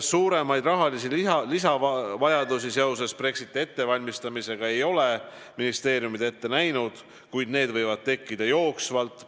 Suuremaid lisaraha vajadusi seoses Brexiti ettevalmistamisega ei ole ministeeriumid ette näinud, kuid need võivad tekkida jooksvalt.